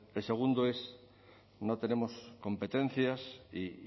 el segundo es no tenemos competencias y